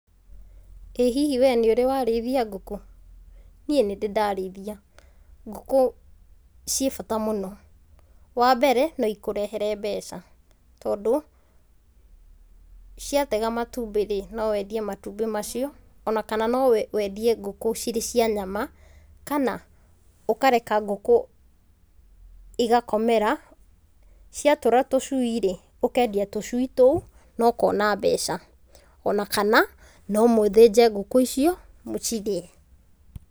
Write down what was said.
Ĩ hihi wee nĩ ũrĩ warĩithia ngũkũ? Niĩ nĩndĩ ndarĩithia, ngũkũ ciĩ bata mũno. Wambere no ikũrehere mbeca tondũ ciatega matumbĩ rĩ, no wendie matumbĩ macio ona kana no wendie ngũkũ cirĩ cia nyama kana ũkareka ngũkũ igakomera, ciatũra tũcui rĩ, ũkendia tũcui tũu na ũkona mbeca, ona kana no mũthĩnje ngũkũ icio mũcirĩe.